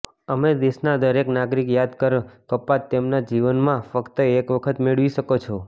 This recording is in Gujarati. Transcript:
અમે દેશના દરેક નાગરિક યાદ કર કપાત તેમના જીવનમાં ફક્ત એક વખત મેળવી શકો છો